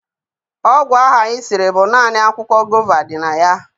Ọgwụ ahụ anyị siri bụ naanị akwụkwọ gova dị na ya.